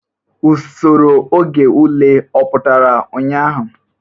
Usoro oge ule ọ pụtara ụnyahụ?